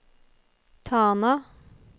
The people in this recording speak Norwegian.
Tana